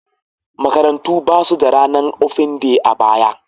Makarantu ba su da ranar ofen day a baya.